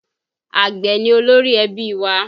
Àgbẹ̀ ni olórí ẹbí wa